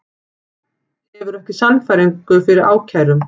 Hefur ekki sannfæringu fyrir ákærum